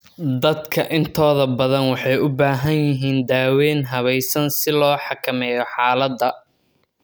Dadka intooda badan waxay u baahan yihiin daaweyn habaysan si loo xakameeyo xaaladda.